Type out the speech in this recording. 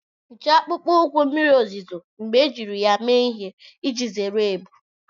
Hichaa akpụkpọ ụkwụ mmiri ozuzo mgbe ejiri ya mee ihe iji zere ebu.